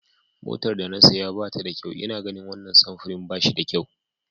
Motar da na saya ba ta da kyau ina ganin wannan samfurin ba shi da kyau.